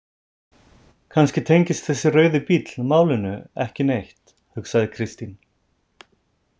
Kannski tengist þessi rauði bíll málinu ekki neitt, hugsaði Kristín.